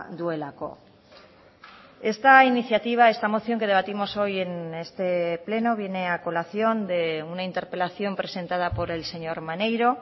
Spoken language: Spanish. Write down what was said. duelako esta iniciativa esta moción que debatimos hoy en este pleno viene a colación de una interpelación presentada por el señor maneiro